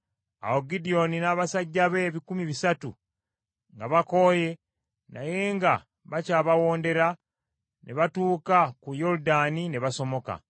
Awo Gidyoni n’abasajja be ebikumi bisatu, nga bakooye, naye nga bakyabawondera, ne batuuka ku Yoludaani ne basomoka.